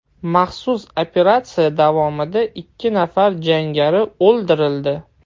Maxsus operatsiya davomida ikki nafar jangari o‘ldirildi.